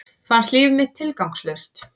Fannst líf mitt tilgangslaust.